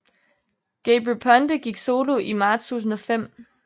Gabry Ponte gik solo i marts 2005